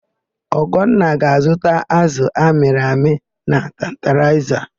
Ugonna ga-azụta ázụ̀ amịrị amị na Tantalaịza.